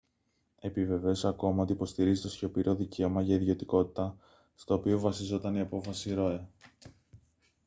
επιβεβαίωσε ακόμη ότι υποστηρίζει το σιωπηρό δικαίωμα για ιδιωτικότητα στο οποίο βασιζόταν η απόφαση roe